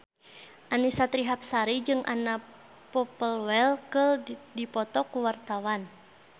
Annisa Trihapsari jeung Anna Popplewell keur dipoto ku wartawan